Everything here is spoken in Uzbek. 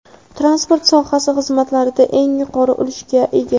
Transport sohasi xizmatlarda eng yuqori ulushga ega.